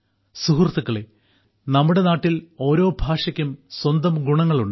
സുഹൃത്തുക്കളെ നമ്മുടെ നാട്ടിൽ ഓരോ ഭാഷക്കും സ്വന്തം ഗുണങ്ങളുണ്ട്